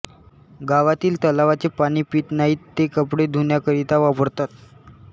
गावातिल तलावाचे पाणी पित नाहित ते कपडे धुण्याकरिता वापरतात